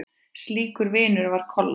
Slíkur vinur var Kolla.